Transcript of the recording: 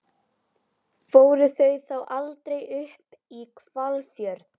Fóru þau þá aldrei upp í Hvalfjörð?